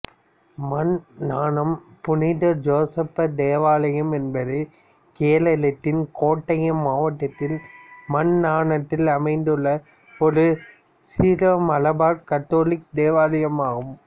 மன்நானம் புனித ஜோசப் தேவாலயம் என்பது கேரளத்தின் கோட்டயம் மாவட்டத்தில் மன்நானத்தில் அமைந்துள்ள ஒரு சிரோமலபார் கத்தோலிக்க தேவாலயம் ஆகும்